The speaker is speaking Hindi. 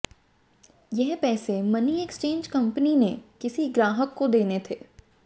यह पैसे मनी एक्सचेंज कंपनी ने किसी ग्राहक को देने थे